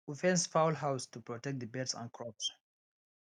we fence fowl house to protect the birds and crops